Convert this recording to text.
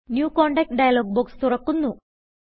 new contact dialog box തുറക്കന്നു